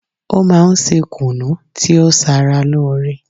Ó máa n se kùnú tí ó sara lóore